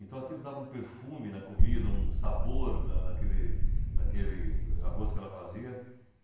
Então aquilo dava um perfume na comida, um sabor na naquele naquele arroz que ela fazia.